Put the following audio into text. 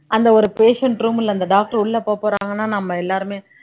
அந்த ஒரு patient room ல அந்த doctor உள்ள போகப்போறாங்கன்னா நம்ம எல்லாருமே